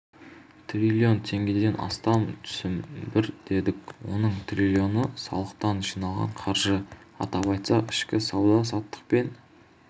трилион теңгеден астам түсім бар дедік оның триллионы салықтан жиналған қаржы атап айтсақ ішкі сауда-саттық пен